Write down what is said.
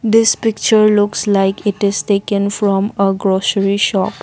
this picture looks like it is taken from a grocery shop.